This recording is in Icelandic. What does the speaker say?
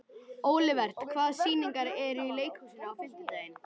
Olivert, hvaða sýningar eru í leikhúsinu á fimmtudaginn?